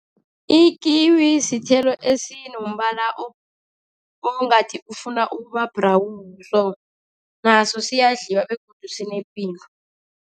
Ikiwi sithelo esinombala ongathi ufuna ukuba-brown so. Naso siyadliwa begodu sinepilo.